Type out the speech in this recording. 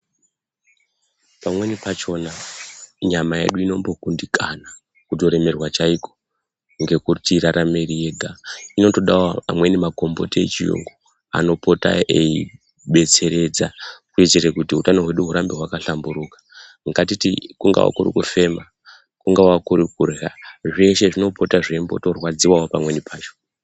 Pamweni pachona nyama yedu inombokundikana, kutoremerwa chaiko ngekuti irarame iri yega. Inotodawo amweni makomboti echiyungu anopota eidetseredza kuitire kuti utano hwedu hurambe hwaka hlamburuka. Ngatiti kungava kuri kufema, kungava kuri kurya zveshe zvinombopota zveitombo rwadziwawo pamweni pacho